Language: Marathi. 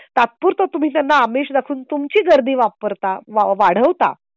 तात्पूरत तुम्ही त्यांना आमिष दाखवून तुमची गर्दी वापरता वाढवता.